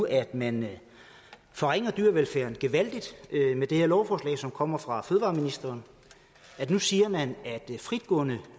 at man nu forringer dyrevelfærden gevaldigt med det her lovforslag som kommer fra fødevareministeren nu siger man at fritgående